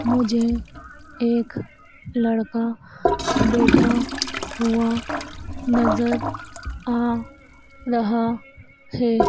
मुझे एक लड़का बैठा हुआ नजर आ रहा है।